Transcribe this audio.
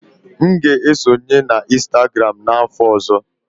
M ga-esonye na Instagram n'afọ ọzọ.